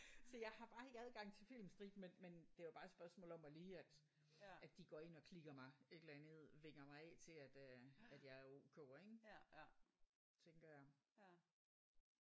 Så jeg har bare ikke adgang til filmstriben men men det er jo bare et spørgsmål om at lige at at de går ind og klikker mig et eller andet vinger mig af til at øh at jeg er ok ik? Tænker jeg